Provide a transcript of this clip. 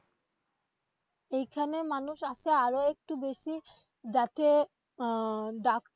এইখানে মানুষ আসে আরো একটু বেশি যাতে আহ